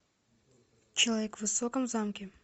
человек в высоком замке